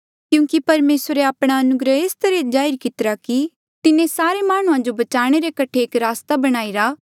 क्यूंकि परमेसरे आपणा अनुग्रह एस तरहा जाहिर कितिरा कि तिन्हें सारे माह्णुंआं जो बचाणे रे कठे एक रस्ता बणाईरा